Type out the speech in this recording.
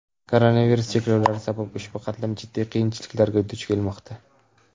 Koronavirus cheklovlari sabab ushbu qatlam jiddiy qiyinchiliklarga duch kelmoqda.